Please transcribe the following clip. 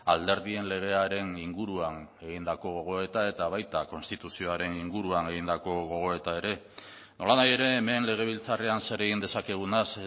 alderdien legearen inguruan egindako gogoeta eta baita konstituzioaren inguruan egindako gogoeta ere nolanahi ere hemen legebiltzarrean zer egin dezakegunaz